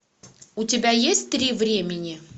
у тебя есть три времени